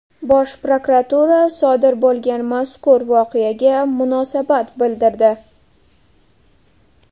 Bosh prokuratura sodir bo‘lgan mazkur voqeaga munosabat bildirdi.